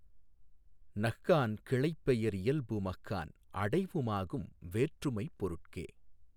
னஃகான் கிளைப்பெய ரியல்பு மஃகான் அடைவு மாகும் வேற்றுமைப் பொருட்கே